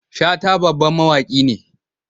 Shata babban mawaki ne.